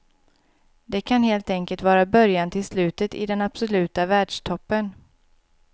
Det kan helt enkelt vara början till slutet i den absoluta världstoppen.